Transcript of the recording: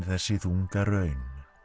þessi þunga raun